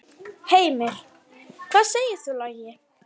Heimir: Hvað segir þú, Logi?